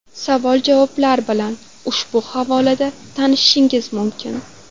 Savol-javoblar bilan ushbu havola da tanishishingiz mumkin.